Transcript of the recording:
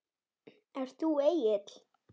Ert þú Egill?